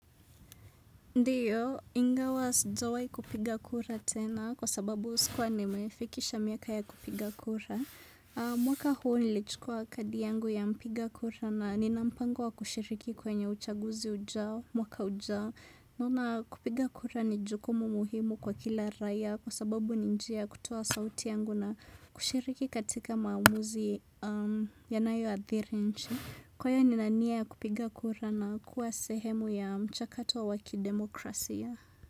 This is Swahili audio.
Ndiyo, ingawa sijawai kupiga kura tena kwa sababu sikuwa ni mefikisha miaka ya kupiga kura. Mwaka huu nilichukua kadi yangu ya mpiga kura na ninampango wa kushiriki kwenye uchaguzi ujao, mwaka ujao. Naona kupiga kura ni jukumu muhimu kwa kila raia kwa sababu ni njia kutoa sauti yangu na kushiriki katika maamuzi yanayo adhiri nchi. Kwa hiyo nina nia ya kupiga kura na kuwa sehemu ya mchakato wa waki demokrasia.